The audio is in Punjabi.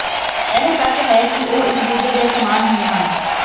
ਇਹ ਸੱਚ ਹੈ ਕਿ ਉਹ ਇਕ ਦੂਜੇ ਦੇ ਸਮਾਨ ਹੀ ਹਨ